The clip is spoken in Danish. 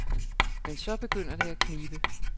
Men så begynder det at knibe.